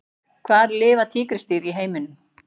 Hvar lifa tígrisdýr í heiminum?